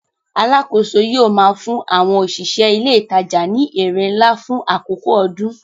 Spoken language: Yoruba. Alákòóso yóò máa fún àwọn òṣìṣẹ́ ilé ìtajà ní èrè ńlá fún àkókò ọdún.